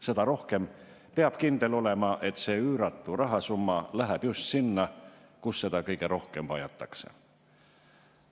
Seda rohkem peab kindel olema, et see üüratu rahasumma läheb just sinna, kus seda kõige rohkem vajatakse.